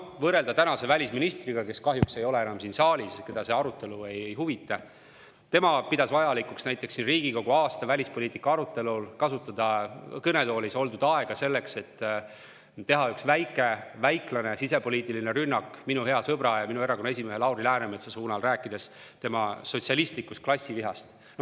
Praegune välisminister, keda kahjuks ei ole enam siin saalis – teda see arutelu ei huvita –, pidas vajalikuks siin Riigikogus aasta välispoliitika arutelul kasutada kõnetoolis oldud aega selleks, et teha üks väiklane ja sisepoliitiline rünnak minu hea sõbra, meie erakonna esimehe Lauri Läänemetsa pihta, rääkides tema sotsialistlikust klassivihast.